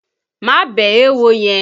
Má bẹ̀ẹ́ éwo yẹn!